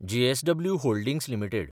JSW Holdings limited